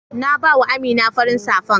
na ba wa Amina farin safan.